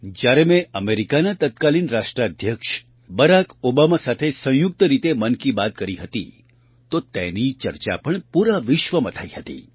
જ્યારે મેં અમેરિકાના તત્કાલીન રાષ્ટ્રાધ્યક્ષ બરાક ઓબામા સાથે સંયુક્ત રીતે મન કી બાત કરી હતી તો તેની ચર્ચા પૂરા વિશ્વમાં થઈ હતી